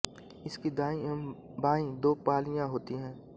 इसकी दाईं एवं बाईं दो पालियाँ होती हैं